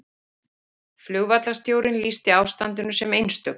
Flugvallarstjórinn lýsti ástandinu sem einstöku